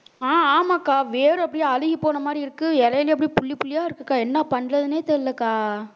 அஹ் ஆமாக்கா வேரு அப்படியே அழுகிப்போன மாதிரி இருக்கு இலையிலே அப்படியே புள்ளி புள்ளியா இருக்குக்கா என்ன பண்றதுன்னே தெரியலைக்கா